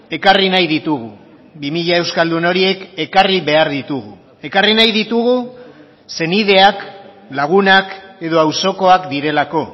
ekarri nahi ditugu bi mila euskaldun horiek ekarri behar ditugu ekarri nahi ditugu senideak lagunak edo auzokoak direlako